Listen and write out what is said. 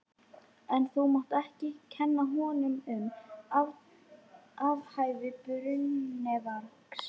En þú mátt ekki kenna honum um athæfi brennuvargs.